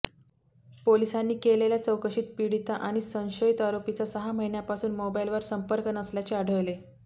पोलिसांनी केलेल्या चौकशीत पीडिता आणि संशयित आरोपीचा सहा महिन्यापासून मोबाइलवर संपर्क नसल्याचे आढळले